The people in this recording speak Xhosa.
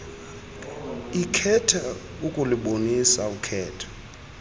ekhetha ukulubonisa ukhetho